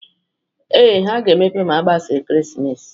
Ee, ha ga-emepe ma agbasa ekeresimesi